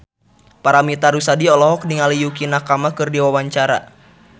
Paramitha Rusady olohok ningali Yukie Nakama keur diwawancara